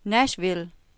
Nashville